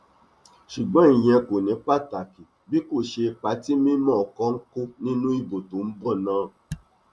ṣùgbọn ìyẹn kò ní pàtàkì bí kò ṣe ipa tí mímọkọ ń kó nínú ìbò tó ń bọ náà